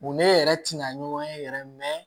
Mun ne yɛrɛ tɛna ɲɔgɔn ye yɛrɛ